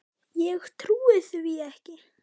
Ég trúi því ekki.